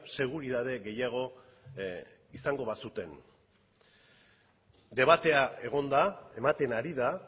seguritate gehiago izango bazuten debatea egon da ematen ari da